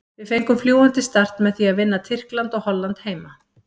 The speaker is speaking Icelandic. Við fengum fljúgandi start með því að vinna Tyrkland og Holland heima.